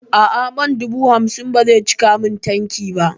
A'a man dubu hamsin ba zai cika min tanki ba